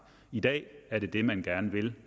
i dag er det det man gerne vil